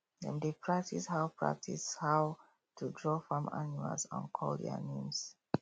dem dey practise how practise how to draw farm animals and call their names